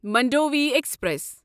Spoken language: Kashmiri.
منڈوی ایکسپریس